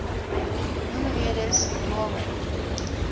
noem redes waarom